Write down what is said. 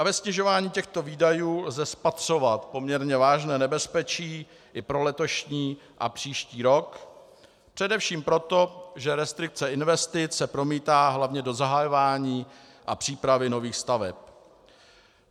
A ve snižování těchto výdajů lze spatřovat poměrně vážné nebezpečí i pro letošní a příští rok, především proto, že restrikce investic se promítá hlavně do zahajování a přípravy nových staveb.